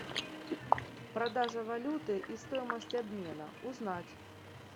продажа валюты и стоимость обмена узнать